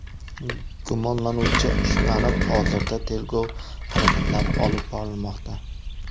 Gumonlanuvchi ushlanib, hozirda tergov harakatlari olib borilmoqda.